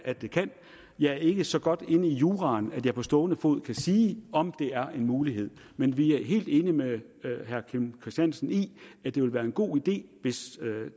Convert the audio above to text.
at det kan jeg er ikke så godt inde i juraen at jeg på stående fod kan sige om det er en mulighed men vi er helt enige med herre kim christiansen i at det ville være en god idé hvis